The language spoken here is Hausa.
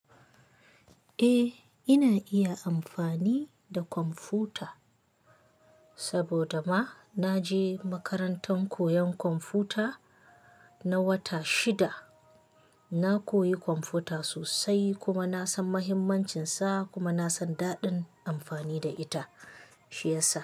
Eh, ina iya amfani da kwamfuta saboda ma na je makarantar koyan kwamfuta na wata shida. Na koyi kwamfuta sosai kuma na san mahimmancinsa kuma na san daɗin amfani da ita, shi ya sa.